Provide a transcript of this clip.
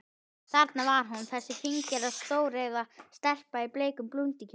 Þarna var hún, þessi fíngerða, stóreygða stelpa í bleikum blúndukjól.